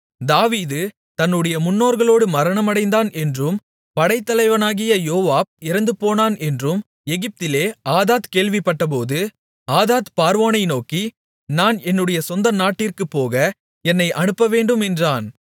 தாவீது தன்னுடைய முன்னோர்களோடு மரணமடைந்தான் என்றும் படைத்தலைவனாகிய யோவாப் இறந்துபோனான் என்றும் எகிப்திலே ஆதாத் கேள்விப்பட்டபோது ஆதாத் பார்வோனை நோக்கி நான் என்னுடைய சொந்த நாட்டிற்குப்போக என்னை அனுப்பவேண்டும் என்றான்